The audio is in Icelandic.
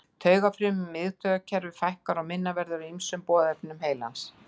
Taugafrumum í miðtaugakerfi fækkar og minna verður af ýmsum boðefnum heilans.